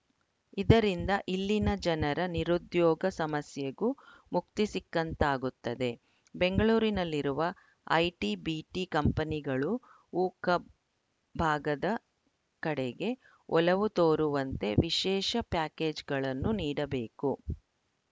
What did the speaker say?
ಇದರಿಂದ ಇಲ್ಲಿನ ಜನರ ನಿರುದ್ಯೋಗ ಸಮಸ್ಯೆಗೂ ಮುಕ್ತಿ ಸಿಕ್ಕಂತಾಗುತ್ತದೆ ಬೆಂಗಳೂರಿನಲ್ಲಿರುವ ಐಟಿ ಬಿಟಿ ಕಂಪನಿಗಳು ಉಕ ಭಾಗದ ಕಡೆಗೆ ಒಲವು ತೋರುವಂತೆ ವಿಶೇಷ ಪ್ಯಾಕೇಜ್‌ಗಳನ್ನು ನೀಡಬೇಕು